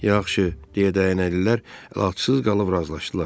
Yaxşı, deyə dəyənəlilər əlacsız qalıb razılaşdılar.